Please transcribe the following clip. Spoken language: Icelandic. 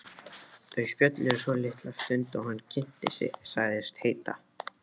Þau spjölluðu svolitla stund og hann kynnti sig, sagðist heita